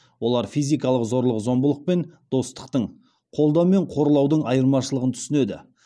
олар физикалық зорлық зомбылық пен достықтың қолдау мен қорлаудың айырмашылығын түсінеді